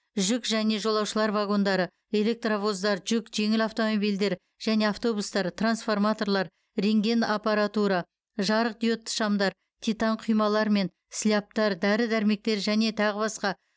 жүк және жолаушылар вагондары электровоздар жүк жеңіл автомобильдер және автобустар трансформаторлар рентген аппаратура жарықдиодты шамдар титан құймалар мен слябтар дәрі дәрмектер және тағы басқа